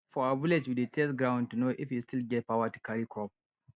for our village we dey test ground to know if e still get power to carry crop